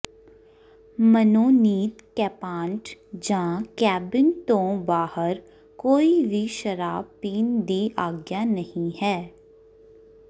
ਮਨੋਨੀਤ ਕੈਪਾਂਟ ਜਾਂ ਕੈਬਿਨ ਤੋਂ ਬਾਹਰ ਕੋਈ ਵੀ ਸ਼ਰਾਬ ਪੀਣ ਦੀ ਆਗਿਆ ਨਹੀਂ ਹੈ